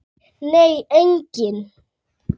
Nei, enginn